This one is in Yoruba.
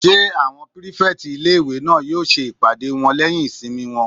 Ṣé àwọn pírífẹ̀tì ilé-ìwé náà yóò ṣe ìpàdé wọn lẹ́yìn ìsinmi wọn?